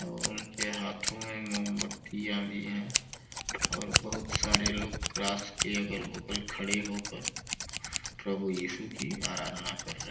और उनके हाथो में मोमबतियां भी हैं और बहुत सारे लोग क्रास के अगल-बगल खड़े हो कर प्रभु इशु की आराधना कर रहे --